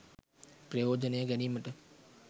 ප්‍රයෝජනය ගැනීමට